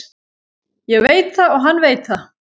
Ég veit það og hann veit það.